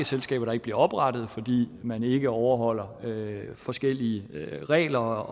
selskaber der ikke bliver oprettet fordi man ikke overholder forskellige regler